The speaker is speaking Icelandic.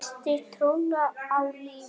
Missti trúna á lífið.